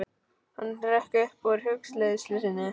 Hann hrökk upp úr hugleiðslu sinni.